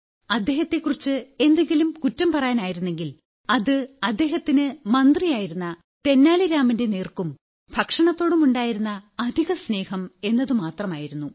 അദ്ദേഹത്തെക്കുറിച്ച് എന്തെങ്കിലും കുറ്റം പറയാനായിരുന്നെങ്കിൽ അത് അദ്ദേഹത്തിന് മന്ത്രിയായിരുന്ന തെന്നാലി രാമന്റെ നേർക്കും ഭക്ഷണത്തോടുമുണ്ടായിരുന്ന അധിക സ്നേഹം എന്നതുമാത്രമായിരുന്നു